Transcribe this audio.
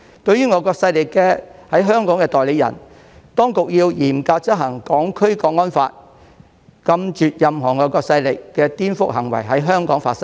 對於外國勢力在香港的代理人，當局要嚴格執行《香港國安法》，禁絕任何外國勢力的顛覆行為在香港發生。